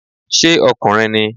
Ṣé ọkùnrin ni?